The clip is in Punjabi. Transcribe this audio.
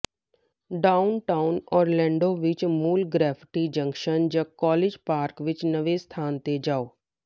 ਡਾਊਨਟਾਊਨ ਓਰਲੈਂਡੋ ਵਿੱਚ ਮੂਲ ਗ੍ਰੈਫਿਟੀ ਜੰਕਸ਼ਨ ਜਾਂ ਕਾਲਜ ਪਾਰਕ ਵਿੱਚ ਨਵੇਂ ਸਥਾਨ ਤੇ ਜਾਓ